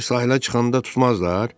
Bəs sahilə çıxanda tutmazlar?